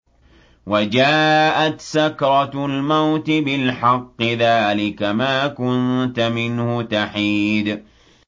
وَجَاءَتْ سَكْرَةُ الْمَوْتِ بِالْحَقِّ ۖ ذَٰلِكَ مَا كُنتَ مِنْهُ تَحِيدُ